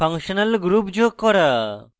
functional groups যোগ করা